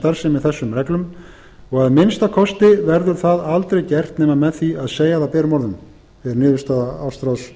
starfsemi þessum reglum og að minnsta kosti verður það aldrei gert nema með því að segja það berum orðum er niðurstaða ástráðs